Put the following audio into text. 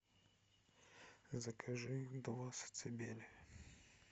закажи два сацебели